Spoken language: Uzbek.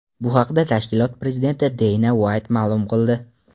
Bu haqda tashkilot prezidenti Deyna Uayt ma’lum qildi .